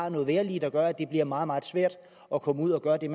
et vejrlig der gør at det bliver meget meget svært at komme ud at gøre det